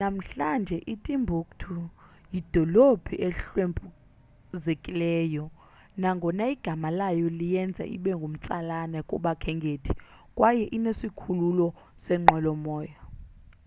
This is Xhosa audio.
namhlanje itimbuktu yidolophu ehlwempuzekileyo nangona igama layo liyenza ibe ngumtsalane kubakhenkethi kwaye inesikhululo seenqwelomoya